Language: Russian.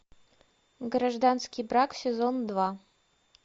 гражданский брак сезон два